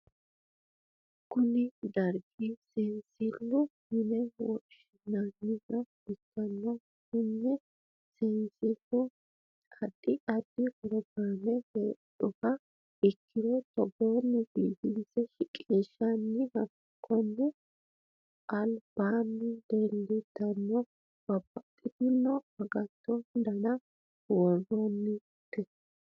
konne darga seensilleho yine woshshineemmoha ikkanna, kuni seensillino addi addi pirogiraame heedhuha ikkiro togoonni biifinse shiqinshanni, konne albaanni leellannori babbaxxitino agatto dana worroonnite.